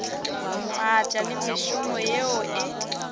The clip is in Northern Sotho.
maatla le mešomo yeo e